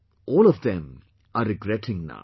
all of them are regretting now